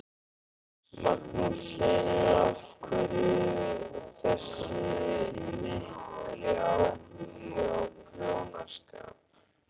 Magnús Hlynur: Af hverju þessi mikli áhugi á prjónaskap?